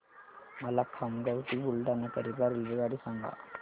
मला खामगाव ते बुलढाणा करीता रेल्वेगाडी सांगा